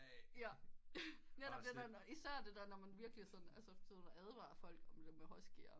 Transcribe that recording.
Netop det der især det der når man virkelig altså advarer folk om det med huskyer